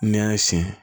N'i y'a sin